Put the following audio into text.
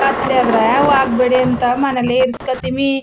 ಕತ್ಲೆ ಆದ್ರೆ ಹೋಗ್ಬೇಡಿ ಅಂತ ಮನೆಲಿ ಇರ್ಸ್ಕತಿಮಿ .